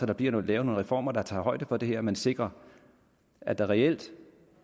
der bliver lavet nogle reformer der tager højde for det her så man sikrer at der reelt